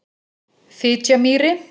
Fitjamýri